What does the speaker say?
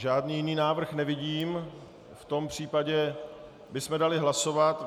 Žádný jiný návrh nevidím, v tom případě bychom dali hlasovat.